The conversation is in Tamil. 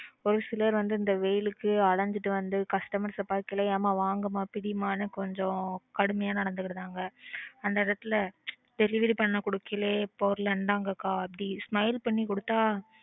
ஒரு சிலர் வந்து வெயிலுக்கு அலைஞ்சுட்டு வந்து customers அ பார்க்கையில எம்மா வாங்கம்மா பிடிம்மான்னு கொஞ்சம் கடுமையா நடந்துகிறாங்க. அந்த இடத்துல delivery பண்ண கொடுக்கைல பொருள இந்தாங்கக்கா அப்படி smile பண்ணி கொடுத்தா.